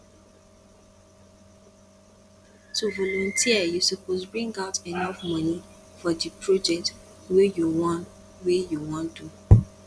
to volunteer you suppose bring out enough moni for di project wey you won wey you won do